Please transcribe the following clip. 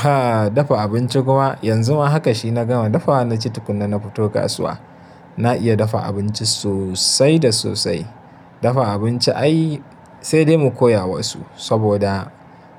Ha dafa abinci kuma yanzu ma haka shi na gama dafawa na ci tukunnan na fito kasuwa. Na iya dafa abinci sosai da sosai. Dafa abinci ai sai dai mu koya wa su saboda